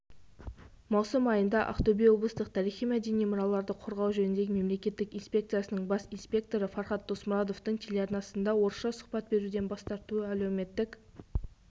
маусым айында ақтөбе облыстық тарихи-мәдени мұраларды қорғау жөніндегі мемлекеттік инспекциясының бас инспекторы фархад досмұратовтың телеарнасына орысша сұхбат беруден бас тартуы әлеуметтік